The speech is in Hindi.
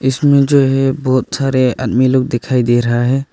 इसमें जो है बहोत सारे आदमी लोग दिखाई दे रहा है।